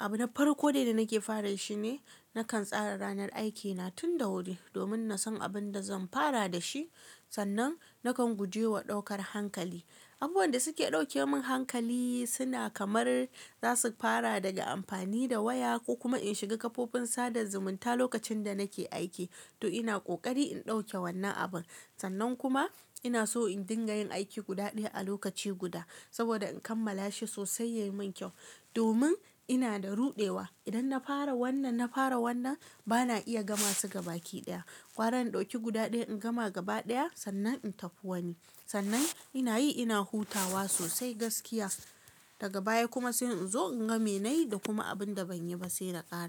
abuna farko dai da nake fara shi ne nakan tsara ranar aikina tun da wuri domin nasan abin da zan fara da shi. Sannan nakan guje wa ɗaukar hankali. Abubuwan da suke ɗauke min hankali suna kamar za su fara daga amfani da waya ko kuma in shiga kafofin sada zumunta lokacin da nake aiki. To ina ƙoƙari in ɗauke wannan abun. Sannan kuma ina so in dinga yin aiki guda ɗaya a lokaci guda saboda in kammala shi sosai yayi min kyau. Domin ina da ruɗewa idan na fara wannan, na fara wannan bana iya gama su gaba ki ɗaya. Gwara in ɗauki guda ɗaya in gama gaba ɗaya sannan in tafi wani. Sannan ina yi ina hutawa sosai gaskiya daga baya kuma sai in zo in ga me nayi da kuma abin da ban yi ba saina ƙara.